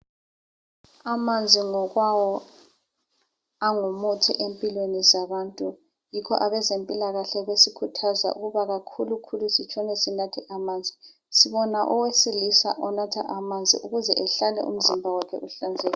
Amanzi ngokwawo angumuthi empilweni zabantu. Yikho abezempilakahle besikhuthaza ukuba kakhulukhulu sitshone sinatha amanzi. Sibona owesilisa onatha amanzi ukuze ehlale umzimba wakhe uhlanzekile.